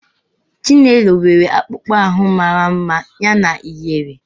Chinelo nwere akpụkpọ ahụ mara mma yana ihere.